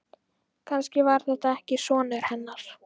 Kannski var þetta ekki sonur hennar.